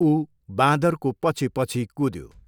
ऊ बाँदरको पछिपछि कुद्यो।